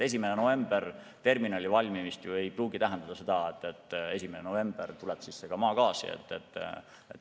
1. novembril terminali valmimine ei pruugi tähendada seda, et 1. novembril tuleb maagaas ka sisse.